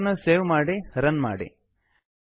ಫೈಲನ್ನು ಸೇವ್ ಮಾಡಿ ರನ್ ಮಾಡಿ